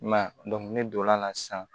I m'a ye ne donn'a la sisan